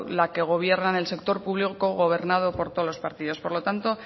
la que gobierna en el sector público gobernado por todos los partidos por lo tanto